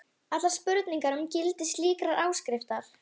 allar spurningar um gildi slíkrar áskriftar.